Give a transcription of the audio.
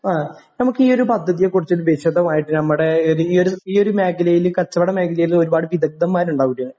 ആ നമുക്കീയൊരു പദ്ധതിയെക്കുറിച്ചിട്ട് വിശദമായിട്ട് നമ്മുടെ ഇത് ഈയൊരു ഈയൊരു മേഖലയില് കച്ചവട മേഖലയില് ഒരുപാട് വിദഗ്ധന്മാരുണ്ടാവൂലേ